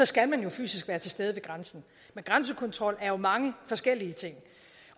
skal man jo fysisk være til stede ved grænsen men grænsekontrol er mange forskellige ting